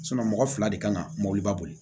mɔgɔ fila de ka na mɔbiliba boli